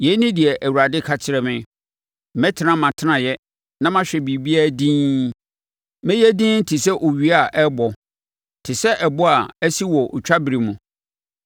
Yei ne deɛ Awurade ka kyerɛ me, “Mɛtena mʼatenaeɛ na mahwɛ biribiara dinn. Mɛyɛ dinn te sɛ owia a ɛrebɔ, te sɛ ɛbɔ a ɛsi wɔ otwa berɛ mu.”